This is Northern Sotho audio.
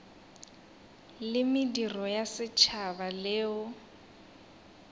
la mediro ya setšhaba leo